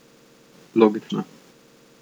Logično.